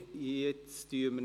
Vote (Art. 57a